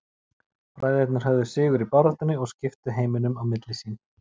Bræðurnir höfðu sigur í baráttunni og skiptu heiminum á milli sín.